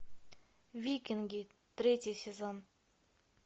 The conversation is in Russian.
викинги третий сезон